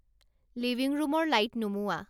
living ৰূমৰ light নুমুওৱা